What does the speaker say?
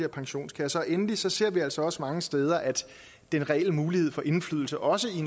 pensionskasser og endelig ser ser vi altså også mange steder at den reelle mulighed for indflydelse også i